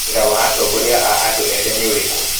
Wira wa atongoria a andũ ethĩ nĩ ũrĩkũ?